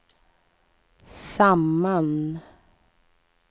samman